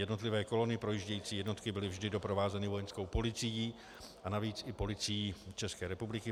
Jednotlivé kolony projíždějící jednotky byly vždy doprovázeny Vojenskou policií a navíc i Policií České republiky.